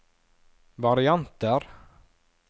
varianter